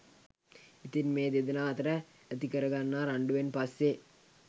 ඉතින් මේ දෙදෙනා අතර ඇතිකර ගන්නා රණ්ඩුවෙන් පස්සෙ